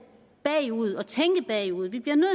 bagud og tænke bagud vi bliver nødt